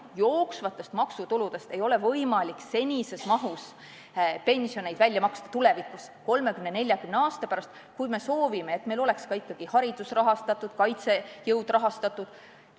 Jooksvast maksutulust ei ole võimalik tulevikus, 30–40 aasta pärast senises mahus pensioneid välja maksta, kui me soovime, et meil oleks ikkagi ka haridus rahastatud, kaitsejõud rahastatud.